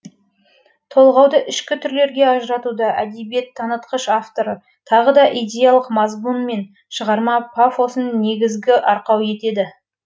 толғауды ішкі түрлерге ажыратуда әдебиет танытқыш авторы тағы да идеялық мазмұн мен шығарма пафосын негізгі арқау етеді